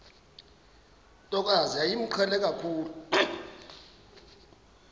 ntokazi yayimqhele kakhulu